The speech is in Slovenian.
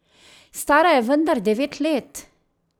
Stara je vendar devet let!